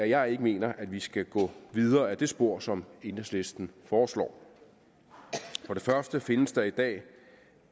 jeg ikke mener at vi skal gå videre ad det spor som enhedslisten foreslår for det første findes der i dag